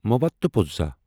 مواتوپوزہا